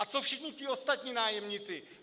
A co všichni ti ostatní nájemníci?